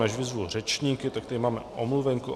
Než vyzvu řečníky, tak tady máme omluvenku.